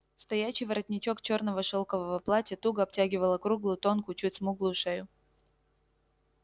стоячий воротничок чёрного шелкового платья туго обтягивал округлую тонкую чуть смуглую шею